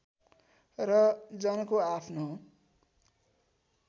र जनको आफ्नो